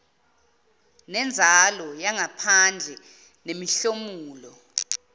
nenzalo yangaphandle nemihlomulo